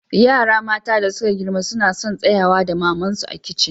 Yara mata da suka girma suna sun tsayawa da naman su a kicin.